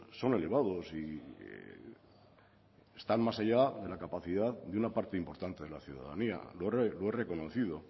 son elevados y están más allá de la capacidad de una parte importante de la ciudadanía lo he reconocido